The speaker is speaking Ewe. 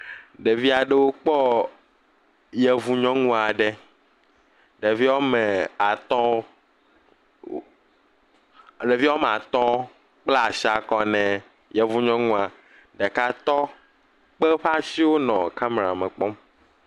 Ɖevi aɖe wokpɔ yevu nyɔnu aɖe. Ɖevi woa me atwo oooo. Ɖevi woa me atɔ kpla si kɔ na yevu nyɔnua. Ɖeka tɔ kpe eƒe asiwo le nɔ kamera me kpɔm.